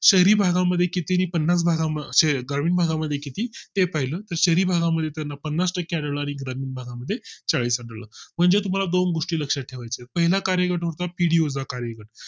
शहरीभागामध्ये किती पन्नास भागा असे ग्रामीण भागामध्ये किती हे पाहिलं तर शहरी भाग मध्ये त्यांना पन्नास टक्के आणि ग्रामीण भागा मध्ये चाळीस टक्के आढळलं म्हणजे तुम्हाला दोन गोष्टी लक्षात ठेवाय चे पहिला कार्यगट होता पीडीओ चा कार्यगट